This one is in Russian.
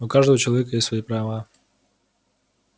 у каждого человека есть свои права